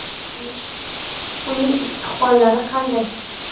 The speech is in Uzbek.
Uning istiqbollari qanday?